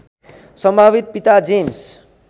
सम्भावित पिता जेम्स